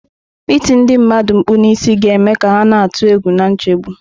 Ịti ndị mmadụ mkpu n'isi ga-eme ka ha na-atụ egwu na nchegbu.